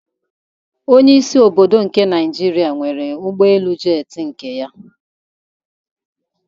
Onyeisi obodo nke Nigeria nwere ụgbọelu jetị nke ya